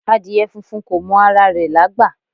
Adìẹ funfun ko mọ ara rẹ̀ lágbà